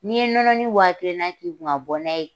Ni ye nɔnɔni wa kelen na k'i kun ka bɔ n'a ye